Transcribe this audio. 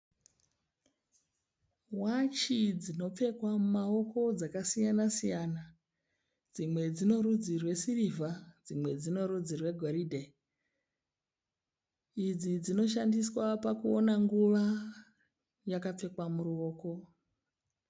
Wachi dzinopfekwa mumaoko dzakasiyana siyana dzimwe dzino rudzi rwesirivha dzimwe dzine rudzi rwegoridhe idzi dzinoshandiswa pakuona nguva yakapfekwa muruoko.